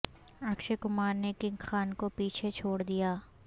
اکشے کمار نے کنگ خان کو پیچھے چھوڑ دیا